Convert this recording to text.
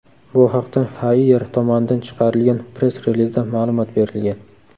Bu haqda Haier tomonidan chiqarilgan press-relizda ma’lumot berilgan .